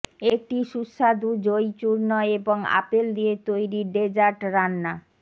একটি সুস্বাদু জইচূর্ণ এবং আপেল দিয়ে তৈরি ডেজার্ট রান্না